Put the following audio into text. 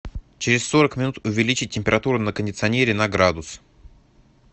через сорок минут увеличь температуру на кондиционере на градус